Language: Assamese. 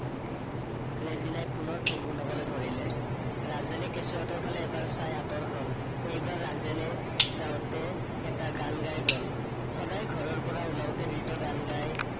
ৰেজিনাই পুনৰ ভূনভূনাবলৈ ধৰিলে। ৰাজেনে কেচুঁৱাটোৰ ফালে এবাৰ চাই আতৰ হল। এইবাৰ ৰাজেনে যাওঁতে এটা গান গায়। গল সদায় ঘৰৰপৰা উলাওতে যিটো গান গায়